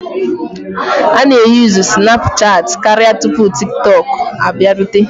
A na-eyuzu Sinapuchat karịa tupu TikTok abịarute,